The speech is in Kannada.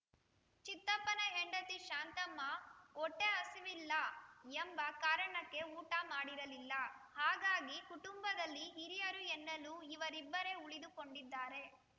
ಚಿತ್ತಪ್ಪನ ಹೆಂಡತಿ ಶಾಂತಮ್ಮ ಹೊಟ್ಟೆಹಸಿವಿಲ್ಲ ಎಂಬ ಕಾರಣಕ್ಕೆ ಊಟ ಮಾಡಿರಲಿಲ್ಲ ಹಾಗಾಗಿ ಕುಟುಂಬದಲ್ಲಿ ಹಿರಿಯರು ಎನ್ನಲು ಇವರಿಬ್ಬರೇ ಉಳಿದುಕೊಂಡಿದ್ದಾರೆ